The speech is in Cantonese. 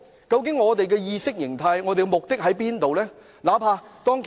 究竟他有何意識形態或目的何在呢？